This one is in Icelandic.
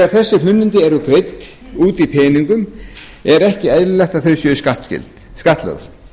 þegar þessi hlunnindi eru greidd út í peningum er ekki eðlilegt að þau séu skattlögð